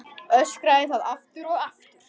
Öskraði það aftur og aftur.